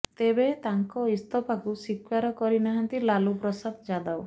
ତେବେ ତାଙ୍କ ଇସ୍ତଫାକୁ ସ୍ବୀକାର କରି ନାହାନ୍ତି ଲାଲୁ ପ୍ରସାଦ ଯାଦବ